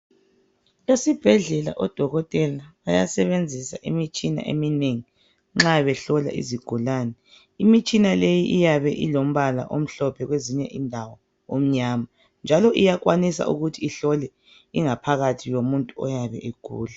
Esibhedlela odokotela bayasebenzisa imitshina eminengi nxa behlola izigulane, imitshina le iyabe ilombala omhlophe kwezinye indawo omnyama njalo iyakwanisa ukuthi ihlole ingaphakathi komuntu oyabe egula.